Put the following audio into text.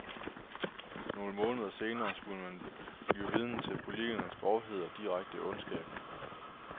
Nogle måneder senere skulle man blive vidne til politikerens grovhed og direkte ondskab.